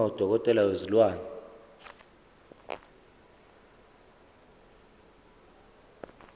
uma udokotela wezilwane